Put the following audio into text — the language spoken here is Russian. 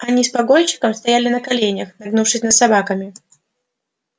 они с погонщиком стояли на коленях нагнувшись над собаками